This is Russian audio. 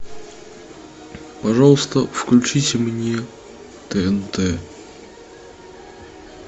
пожалуйста включите мне тнт